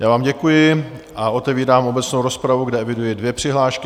Já vám děkuji a otevírám obecnou rozpravu, kde eviduji dvě přihlášky.